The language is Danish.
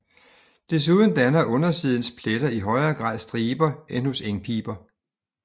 Desuden danner undersidens pletter i højere grad striber end hos engpiber